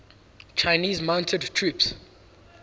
chinese mounted troops